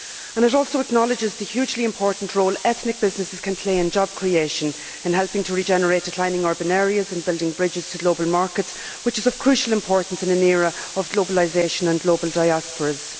It also acknowledges the hugely important role ethnic businesses can play in job creation in helping to regenerate declining urban areas and building bridges to global markets, which is of crucial importance in an era of globalisation and global diasporas.